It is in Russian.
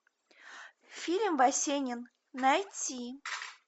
фильм васенин найти